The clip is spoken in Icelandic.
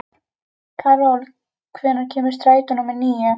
Karol, hvenær kemur strætó númer níu?